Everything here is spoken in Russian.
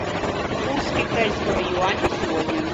курс китайского юаня сегодня